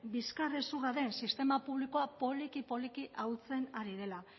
bizkarrezurra den sistema publikoa poliki poliki ahultzen ari dela